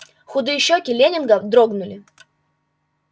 худые щёки лэннинга дрогнули